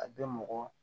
A bɛ mɔgɔ